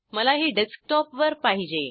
मला ही डेस्कटॉप वर पाहिजे